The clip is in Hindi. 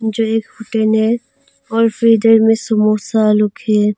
जो एक होटल है और फिर इधर में समोसा रखे है।